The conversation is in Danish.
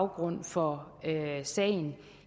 grund for sagen